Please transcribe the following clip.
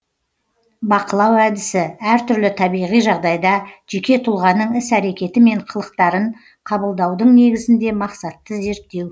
бақылау әдісі әр түрлі табиғи жағдайда жеке тұлғаның іс әрекеті мен қылықтарын қабылдаудың негізінде мақсатты зерттеу